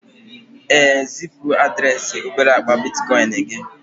ee, zipu adreesị obere akpa bitcoin gị